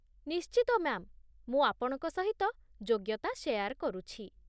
ନିଶ୍ଚିତ, ମ୍ୟା'ମ୍! ମୁଁ ଆପଣଙ୍କ ସହିତ ଯୋଗ୍ୟତା ସେୟାର କରୁଛି